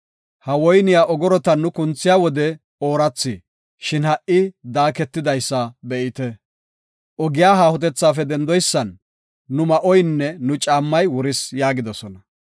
Ha woyniya ogorotan nu kunthiya wode oorathi, shin ha77i daaketidaysa be7ite. Ogiya haahotethaafe dendoysan nu ma7oynne nu caammay wuris” yaagidosona.